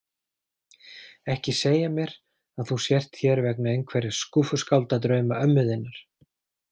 Ekki segja mér að þú sért hér vegna einhverra skúffuskáldadrauma ömmu þinnar.